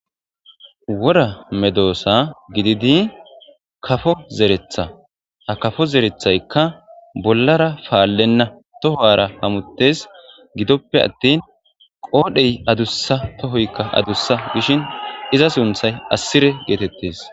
Worra meddossa giididi kafo zereththa ha kafo zereththaykka bollara palena toharra hamutees gidoppe attin qodhdhey adussa to'hoyikka adussakkoshshin iza sunththay assire getettees